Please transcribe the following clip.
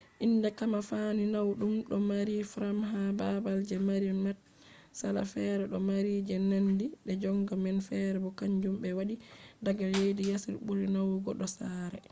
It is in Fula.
inde kamfani naudum do mari frames ha babal je mari matsala; fere do mari je nandi je gonga man fere bo kanjum be waddi daga leddi yasi buri nawugo do sare